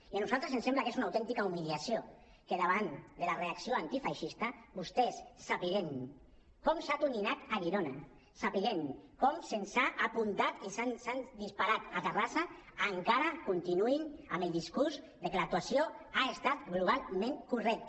i a nosaltres ens sembla que és una autèntica humiliació que davant de la reacció antifeixista vostès sabent com s’ha atonyinat a girona sabent com se’ns ha apuntat i se’ns ha disparat a terrassa encara continuïn amb el discurs que l’actuació ha estat globalment correcta